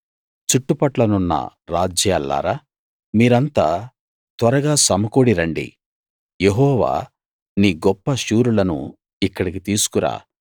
చుట్టుపట్లనున్న రాజ్యాల్లారా మీరంతా త్వరగా సమకూడిరండి యెహోవా నీ గొప్ప శూరులను ఇక్కడికి తీసుకు రా